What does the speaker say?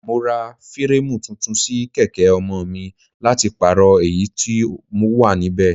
Mo ra fireemu tuntun sí kèké ọmọ mi láti pàrọ èyí tó wà níbẹ̀.